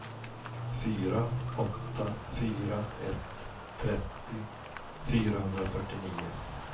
fyra åtta fyra ett trettio fyrahundrafyrtionio